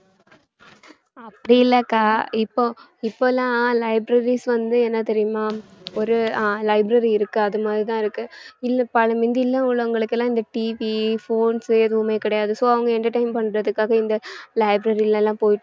அப்படி இல்லக்கா இப்போ இப்போலாம் libraries வந்து என்ன தெரியுமா ஒரு ஆஹ் library இருக்கு அது மாதிரிதான் இருக்கு மிந்தி எல்லாம் உள்ளவங்களுக்கு எல்லாம் இந்த TVphone எதுவுமே கிடையாது. so அவங்க entertain பண்றதுக்காக இந்த library ல எல்லாம் போயிட்டு